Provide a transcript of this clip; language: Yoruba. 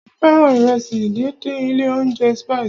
Mo fẹ́ràn ìrẹsì díndín ilé óúnjẹ Spices.